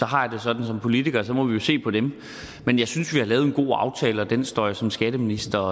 har jeg det sådan som politiker at så må vi jo se på dem men jeg synes vi har lavet en god aftale og den står jeg som skatteminister